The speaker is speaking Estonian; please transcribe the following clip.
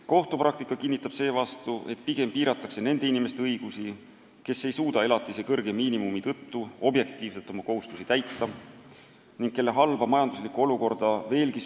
Kohtupraktika kinnitab seevastu, et kui piiratakse nende inimeste õigusi, kes ei suuda elatise kõrge miinimumi tõttu objektiivsetel põhjustel oma kohustusi täita, siis süvendab see nende halba majanduslikku olukorda veelgi.